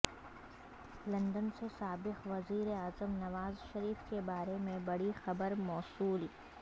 London سے سابق وزیر اعظم نواز شریف کے بارے میں بڑی خبر موصول